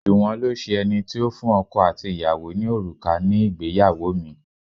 Juwon lo ṣe ẹni tí ó fún ọkọ àti ìyàwó ní òrùka ní ìgbéyàwó mi.